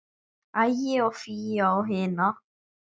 Ægi og Fíu á hina.